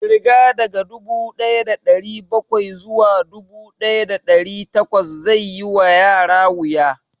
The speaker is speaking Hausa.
Ƙirga daga dubu ɗaya da ɗari bakwai zuwa dubu ɗaya da ɗari takwas zai yi wa yara wuya